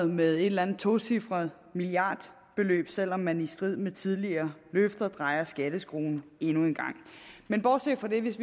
med et eller andet tocifret milliardbeløb selv om man i strid med tidligere løfter drejer skatteskruen endnu en gang men bortset fra det hvis